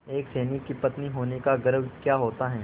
एक सैनिक की पत्नी होने का गौरव क्या होता है